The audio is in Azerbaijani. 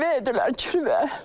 Kirvədilər, kirvə.